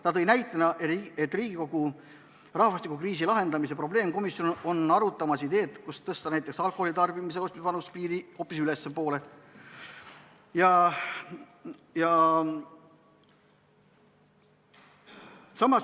Ta tõi näitena, et Riigikogu rahvastikukriisi lahendamise probleemkomisjon arutab ideed, et tõsta alkoholi tarbimise ja ostmise vanusepiiri hoopis ülespoole.